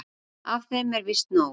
Af þeim er víst nóg.